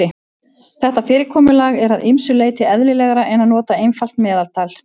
Þetta fyrirkomulag er að ýmsu leyti eðlilegra en að nota einfalt meðaltal.